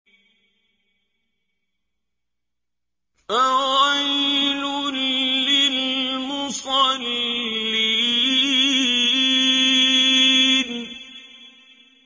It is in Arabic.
فَوَيْلٌ لِّلْمُصَلِّينَ